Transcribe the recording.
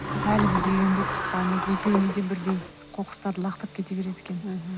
әлі біз үйренбеппіз салмайды екеуіне де бірдей қоқыстарды лақтырып кете береді екен